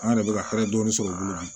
An yɛrɛ bɛ ka hɛrɛ dɔɔni sɔrɔ olu la